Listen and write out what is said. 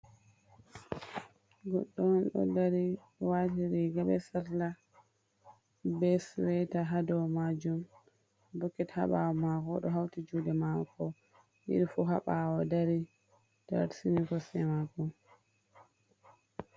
Goɗɗo on ɗo dari wati riga be sarla be sweita ha dow majum, boket ha bawo mako ɗo hauti juɗe mako ɗiɗi fu ha bawo dari tarsini kosɗe mako.